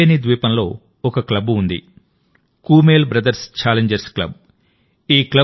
కల్పేని ద్వీపంలో ఒక క్లబ్ ఉంది కూమేల్ బ్రదర్స్ ఛాలెంజర్స్ క్లబ్